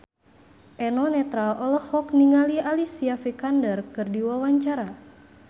Eno Netral olohok ningali Alicia Vikander keur diwawancara